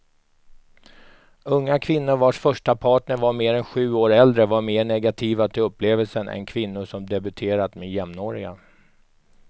Unga kvinnor vars första partner var mer än sju år äldre var mer negativa till upplevelsen än kvinnor som debuterat med jämnåriga.